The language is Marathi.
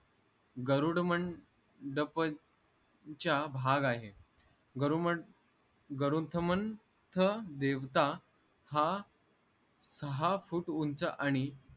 गरुडमंडपचा भाग आहे गरुमन गरुथमंथ देवता हा साहा फूट उंच आणि